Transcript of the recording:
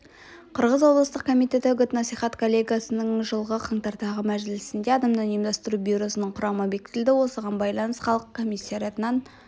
қырғыз облыстық комитеті үгіт-насихат коллегиясының жылғы қаңтардағы мәжілісінде адамнан ұйымдастыру бюросының құрамы бекітілді оған байланыс халық комиссариатынан